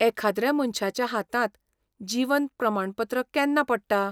एखाद्र्या मनश्याच्या हातांत जीवन प्रमाणपत्र केन्ना पडटा?